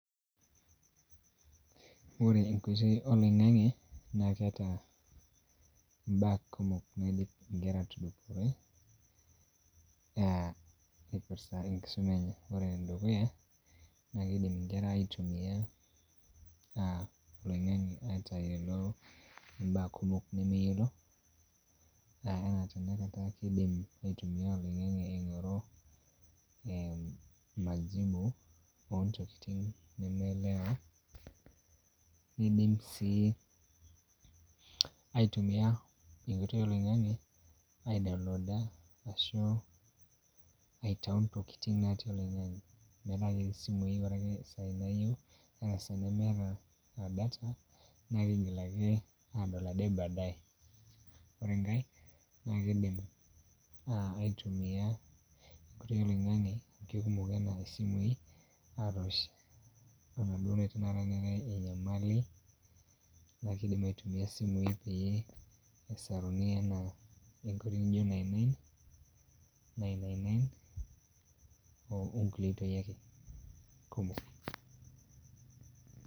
Ore enkoitoi oloing'ang'e naa keeta mbaa kumok naidim nkera aatudupore aah eipirta enkisoma enye. Ore enedukuya naa keidim nkera aitumiyia aah olong'ange aatayiolo mbaa kumok nemeyiolo, anaa tenakata keidim aitumiyia oloing'ang'e aing'oru eeh majibu oontokitin nemeelewa, neidim sii aitumia enkoitoi oloing'ang'e aidownlooda ashu aitayu ntokitin natii oloing'ang'e metaa ketii simui, ore ake saai naayieu anaa saai nemeeta data naa kigil ake aadol ade baadaye. Ore enkae naa kidim aitumiyia enkoitoi oloing'ang'e amu keikumok anaa isimui, atoosh enaduo naata enyamali, naa kiidim aitumia isimui pee esaruni anaa enkoitoi naijo nine nine, nine nine nine okulie oitoi ake kumok.